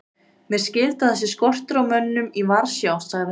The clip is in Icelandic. Mér skilst að það sé skortur á mönnum í Varsjá sagði hann.